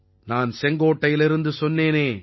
நான் செங்கோட்டையிலிருந்து சொன்னேனே